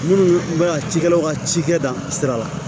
Minnu bɛ ka cikɛlaw ka cikɛ dan sira la